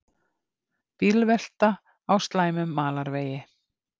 Bílvelta á slæmum malarvegi